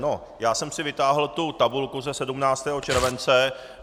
No, já jsem si vytáhl tu tabulku ze 17. července.